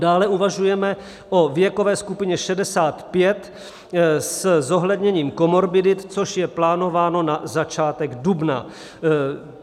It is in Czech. Dále uvažujeme o věkové skupině 65 se zohledněním komorbidit, což je plánováno na začátek dubna.